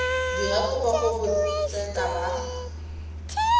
dira kopo go botseta ba